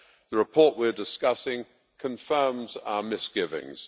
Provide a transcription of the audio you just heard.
The report we are discussing confirms our misgivings.